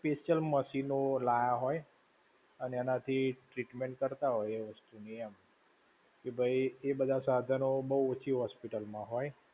Special machine ઓ લાયા હોય, અને એનાથી treatment કરતા હોય એ વસ્તુ ની એમ. કે ભૈ એ બધા સાધનો બહુ ઓછી hospital માં હોય.